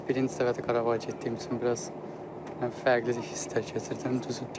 Bir də birinci dəfədir Qarabağa getdiyim üçün biraz fərqli hisslər keçirdirəm.